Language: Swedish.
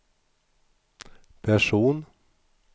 person